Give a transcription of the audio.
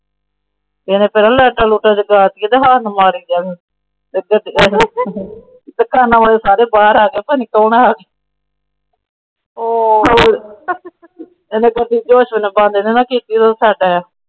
ਕਿਤਰਾ ਸਾਰੇ ਬਾਹਰ ਆ ਗਏ ਕੋਲ।